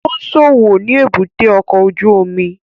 Ó ń ṣòwò ni èbúté ọkọ̀ ojú omi